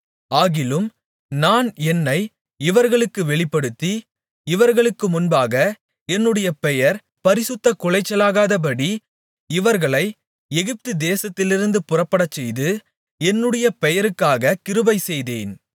ஆகிலும் நான் என்னை இவர்களுக்கு வெளிப்படுத்தி இவர்களுக்கு முன்பாக என்னுடைய பெயர் பரிசுத்தக்குலைச்சலாகாதபடி இவர்களை எகிப்து தேசத்திலிருந்து புறப்படச்செய்து என்னுடைய பெயருக்காக கிருபைசெய்தேன்